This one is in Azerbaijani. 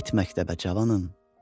Get məktəbə cavanım.